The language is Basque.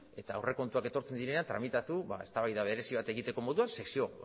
eta aurrekontuak etortzen direnean tramitatu eztabaida berezi bat egiteko moduan sesio